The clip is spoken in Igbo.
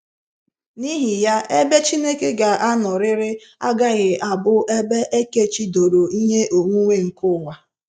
N'ihi ya, ebe Chineke ga anọrịrị agaghị abụ ebe ekechi doro ihe onwunwe nke ụwa.